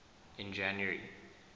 in january